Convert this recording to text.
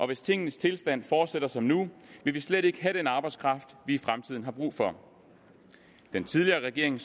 hvis tingenes tilstand fortsætter som nu vil vi slet ikke have den arbejdskraft vi i fremtiden har brug for den tidligere regering